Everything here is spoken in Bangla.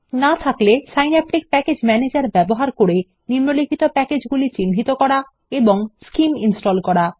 না থাকলে সিন্যাপটিক প্যাকেজ ম্যানেজার ব্যবহার করে নিম্নলিখিত প্যাকেজগুলি চিহ্নিত করুন এবং স্কিম ইনস্টল করুন